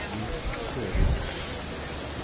Niels Sørum